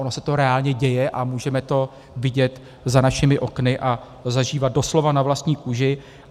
Ono se to reálně děje a můžeme to vidět za našimi okny a zažívat doslova na vlastní kůži.